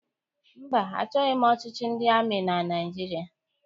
Mba, achọghị m ọchịchị ndị amị na Naịjirịa.